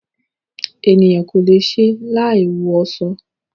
Ènìyàn kò le è ṣe láì wọ aṣọ.